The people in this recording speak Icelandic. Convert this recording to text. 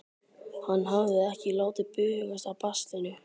Hann hafði ekki látið bugast af baslinu.